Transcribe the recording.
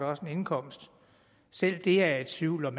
også en indkomst selv det er jeg i tvivl om